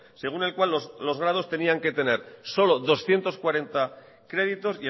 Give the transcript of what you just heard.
según el cual los grados tenían que tener solo doscientos cuarenta créditos